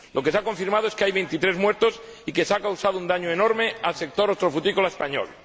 lo que se ha confirmado es que hay veintitrés muertos y que se ha causado un daño enorme al sector hortofrutícola español.